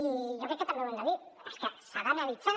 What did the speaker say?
i jo crec que també ho hem de dir és que s’ha d’analitzar